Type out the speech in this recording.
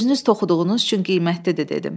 Özünüz toxuduğunuz üçün qiymətlidir dedim.